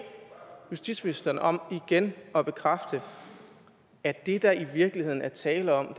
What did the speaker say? justitsministeren om igen at bekræfte at det der i virkeligheden er tale om